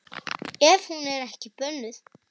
Ef hún er ekki bönnuð.